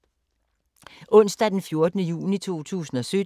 Onsdag d. 14. juni 2017